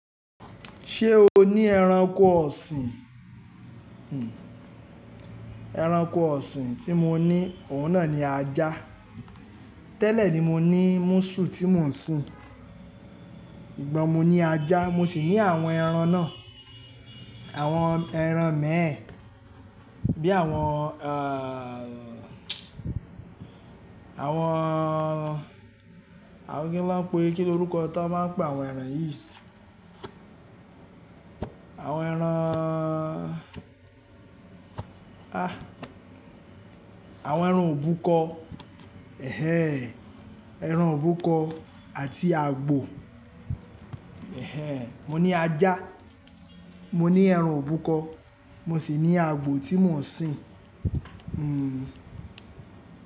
Ṣé o ní ẹranko ọ̀sìn? Ẹranko ọ̀sìn tí mo ní òun náà ni ajá. Tẹ́lẹ̀ ni mo ní múṣù tí mò ń sìn. Sugbon mo ní ajá mo sì ní àwọn ẹran náà. Àwọn ẹran imẹ́ẹ̀ bí àwọn, àwọn kí ni wọ́n ń pe, kí ni orúkọ tí wọ́n máa ń pe àwọn ẹran yìí? Àwọn ẹran, àwọn ẹran òbúkọ. Ẹran òbúkọ àti àgbò. Mo ní ajá, mo ní ẹran òbúkọ mo sì ní àgbò tí mò ń sìn.